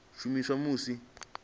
shumiswa musi muthu a tshi